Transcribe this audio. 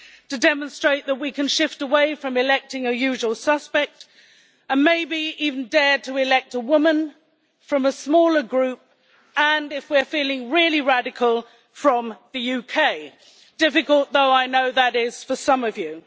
to demonstrate that we can shift away from electing a usual suspect and maybe even dare to elect a woman from a smaller group and, if we're feeling really radical, from the UK, difficult though I know that is for some of you.